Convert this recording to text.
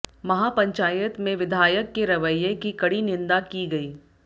महापंचायत में विधायक के रवैये की कड़ी निंदा की गई